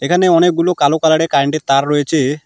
এখানে অনেকগুলো কালো কালার -এর কারেন্ট -এর তার রয়েছে।